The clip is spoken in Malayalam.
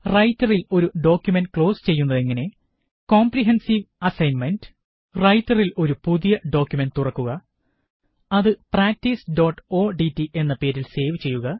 റൈറ്ററീല് ഒരു ഡോക്കുമന്റ് ക്ലോസ് ചെയ്യുന്നത് എങ്ങനെ 001055 001054 കോംപ്രിഹെന്സീവ് അസ്സൈന്മെന്റ് റൈറ്ററില് ഒരു പുതിയ ഡോക്കുമന്റ് തുറക്കുക അത് പ്രാക്ടീസ്odt എന്ന പേരില് സേവ് ചെയ്യുക